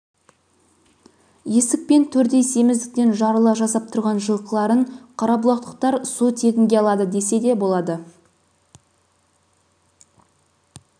есік пен төрдей семіздіктен жарыла жаздап тұрған жылқыларын қарабұлақтықтар су тегінге алады десе де болады